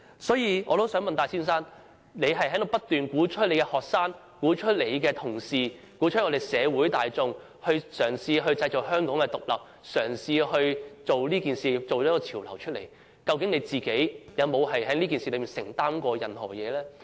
所以，我想問戴先生，他不斷鼓吹學生、同事、社會大眾嘗試製造香港獨立，嘗試做這件事，製造這個潮流，究竟他個人有否在這事件上作出任何承擔？